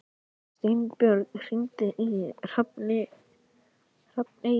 Steinbjörn, hringdu í Hrafneyju.